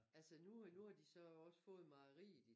Altså nu har nu har de også fået mejeriet i